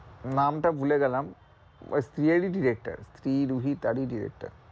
নাম টা ভুলেগেলাম ওই স্ত্রী এর ই director স্ত্রী রুহি তারই director